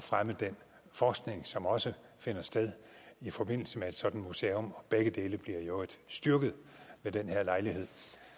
fremme den forskning som også finder sted i forbindelse med et sådant museum begge dele bliver i øvrigt styrket ved den her lejlighed